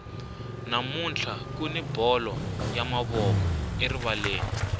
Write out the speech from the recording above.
namuntlha kuni bolo ya mavoko erivaleni